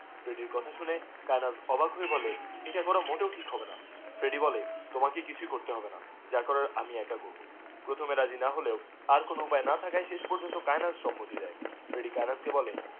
ফ্রেডির কথা শুনে কায়েনাথ অবাক হয়ে বলে এটা করা মোটেও ঠিক হবেনা ফ্রেডি বলে তাকে কিছুই করতে হবেনা হ্যাঁ করার আমি ই করবো প্রথমে রাজি না হলেও আর কোনো উপায়ে না থাকায় শেষ পর্যন্ত সে ফ্রেডি কায়েনাথ কে বলে